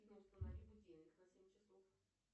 установи будильник на семь часов